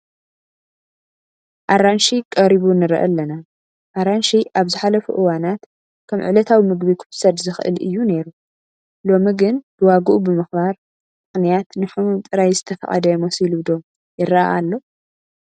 ኣራንሺ ቀሪቡ ንርኢ ኣለና፡፡ ኣራንሺ ኣብ ዝሓለፉ እዋናት ከም ዕለታዊ ምግቢ ክውሰድ ዝኽእል እዩ ነይሩ፡፡ ሎሚ ግን ብዋግኡ ምኽባር ምኽንያት ንሕሙም ጥራይ ዝተፈቐደ መሲሉ ዶ ይርአ ኣሎ?